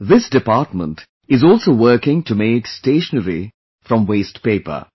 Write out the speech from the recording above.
This department is also working to make stationery from waste paper